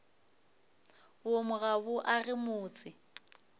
boomo ga bo age motse